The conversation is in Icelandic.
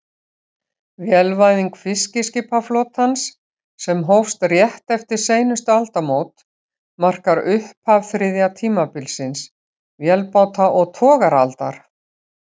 Vélvæðing fiskiskipaflotans, sem hófst rétt eftir seinustu aldamót, markar upphaf þriðja tímabilsins, vélbáta- og togaraaldar.